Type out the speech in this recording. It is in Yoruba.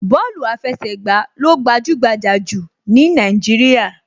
Bọ́ọ̀lù àfẹsẹ̀gbà ló gbajúgbajà jù ní Nàìjíríà